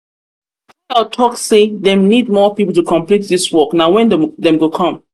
tayo talk say dem need more people to complete dis work na when dem go come?